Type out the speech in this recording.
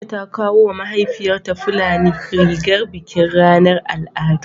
Aisha ta kawo wa mahaifiyarta fulani rigar bikin ranar al'adu